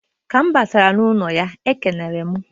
Ka m batara n'ụlọ ya e kenere m.